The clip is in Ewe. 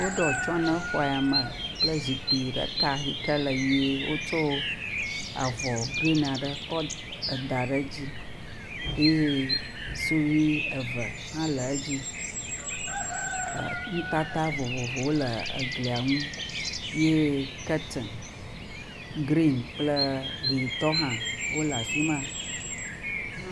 Woɖo atsye ne xɔ ya me kple zikpui ɖeka aɖe le ʋie eye wotsɔ avɔ gren aɖe kɔ ɖa edzi eye sudui ece hã le edzi eh, nutata vovovowo wole egli nu ye kurtin gren kple yitɔ hã le afima.